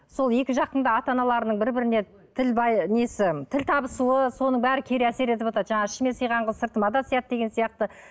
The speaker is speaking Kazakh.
сол екі жақтың да ата аналарының бір біріне тіл несі тіл табысуы соның бәрі кері әсер етіватады жаңағы ішіме сыйған қыз сыртыма да сияды деген сияқты